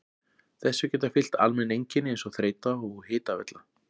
Þessu geta fylgt almenn einkenni eins og þreyta og hitavella.